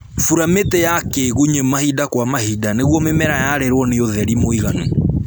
Bura mĩtĩ ya kĩgunyĩ mahinda kwa mahinda nĩguo mĩmera yarĩrwo nĩ ũtheri mũiganu